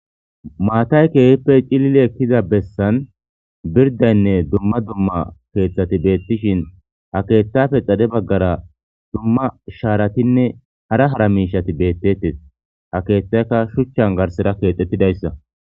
maatay keehippe cilili ekkiza bessan birdaynne dumma dumma keeththati beettishin ha keethtafe xade baggara dumma shaaratinne hara hara miishati bettettes ha keethtayka shuchchan garsera keexxettidayssa